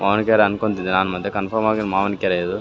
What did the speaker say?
ಮಾವಿನ್ ಕೆರೆ ಅನ್ಕೊಂತೀನಿ ನಾನ್ ಮತ್ತೆ ಕಂಪೋಮ್ ಆಗಿ ಮಾವಿನ್ ಕೆರೆ ಇದು.